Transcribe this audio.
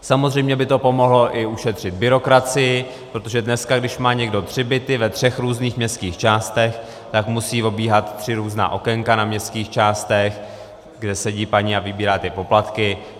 Samozřejmě by to pomohlo i ušetřit byrokracii, protože dneska když má někdo tři byty ve třech různých městských částech, tak musí obíhat tři různá okénka na městských částech, kde sedí paní a vybírá ty poplatky.